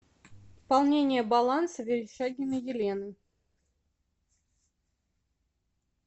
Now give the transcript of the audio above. пополнение баланса верещагиной елены